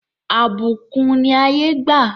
Àbùkún ni ayé gbà.